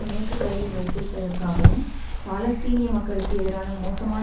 மேற்குகரையில் வைத்திருப்பதற்காவும் பாலஸ்தீனிய மக்களுக்கு எதிரான மோசமான